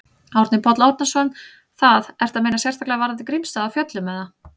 Árni Páll Árnason: Það, ertu að meina sérstaklega varðandi Grímsstaði á Fjöllum, eða?